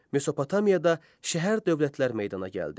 Mesopotamiyada şəhər-dövlətlər meydana gəldi.